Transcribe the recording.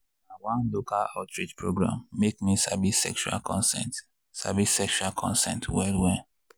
na one local outreach program make me sabi sexual consent sabi sexual consent well well.